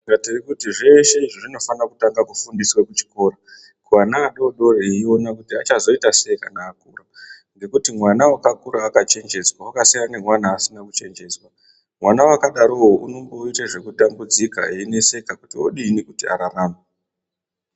Saka tirikuti zveshe izvi zvinofane kutanga kufundiswe kuchikora vana adodori eione kuti achazoita sei kana akura ngekuti mwana wakakura akachenjedzwa wakasiyana nemwana asina kuchenjedzwa mwana wakadarowo unomboite zvekutambudzika eineseka kuti odini kuti ararame.